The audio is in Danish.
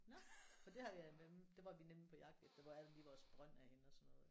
Nå for det har jeg der var vi nemlig på jagt efter hvor er det lige vores brønd er henne og sådan noget